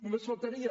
només faltaria